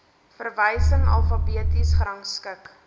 verwysing alfabeties gerangskik